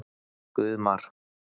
Guðmar